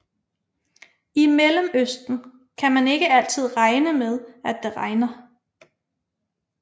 I Mellemøsten kan man ikke altid regne med at det regner